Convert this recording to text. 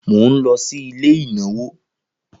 Mo nlo sí ilé ìnáwó